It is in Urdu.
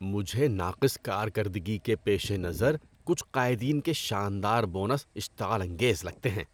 مجھے ناقص کارکردگی کے پیش نظر کچھ قائدین کے شاندار بونس اشتعال انگیز لگتے ہیں۔